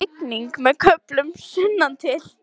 Rigning með köflum sunnantil